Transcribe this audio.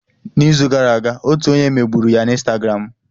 N'izu gara aga, otu onye megburu ya na Instagramu.